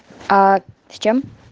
а с чем